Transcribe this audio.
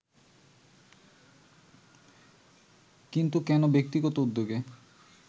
কিন্তু কেন ব্যক্তিগত উদ্যোগে